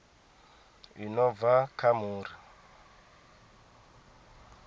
i no bva kha muri